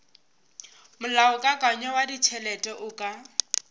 molaokakanywa wa ditšhelete o ka